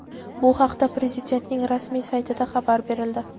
Bu haqda Prezidentning rasmiy saytida xabar berildi.